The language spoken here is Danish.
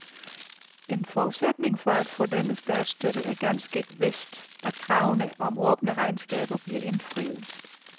En forudsætning for at få denne statsstøtte er ganske vist, at kravene om åbne regnskaber bliver indfriet.